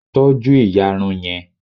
tọju iyarun yẹn